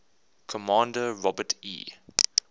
commander robert e